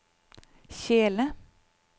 kjele